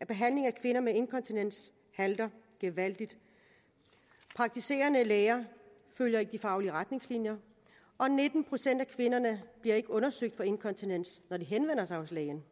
at behandlingen af kvinder med inkontinens halter gevaldigt praktiserende læger følger ikke de faglige retningslinjer og nitten procent af kvinderne bliver ikke undersøgt for inkontinens når de henvender sig hos lægen